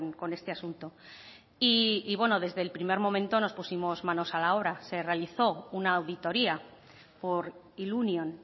con este asunto y bueno desde el primer momento nos pusimos manos a la obra se realizó una auditoria por ilunion